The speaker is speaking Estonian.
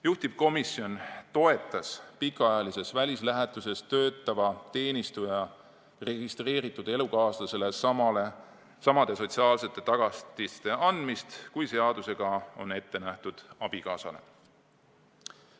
Juhtivkomisjon toetas pikaajalises välislähetuses töötava teenistuja registreeritud elukaaslasele samade sotsiaalsete tagatiste andmist, kui seadusega on ette nähtud abikaasale.